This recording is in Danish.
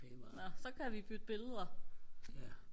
nåh så kan vi bytte billeder